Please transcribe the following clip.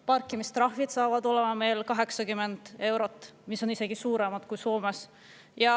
Parkimistrahvid saavad olema 80 eurot, olles isegi suuremad kui Soomes.